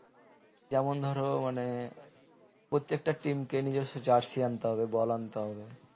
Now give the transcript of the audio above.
যেমন ধরো মানে প্রত্যেকটা team কে নিজস্ব jersy আনতে হবে ball আনতে হবে